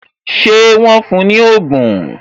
Ṣé wọn fún ní ogún?